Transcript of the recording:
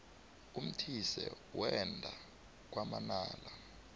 umthise wenda kwamanala